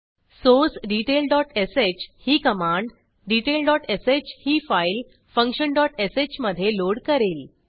source detail dot sh ही command detail dot sh ही file function dot sh मधे load करेल